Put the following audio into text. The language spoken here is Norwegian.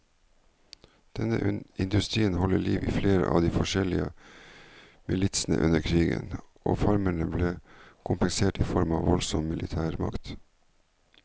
Denne industrien holdt liv i flere av de forskjellige militsene under krigen, og farmerne ble kompensert i form av voldsom militærmakt.